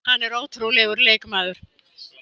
Hann er ótrúlegur leikmaður.